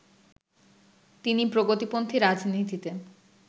তিনি প্রগতিপন্থী রাজনীতিতে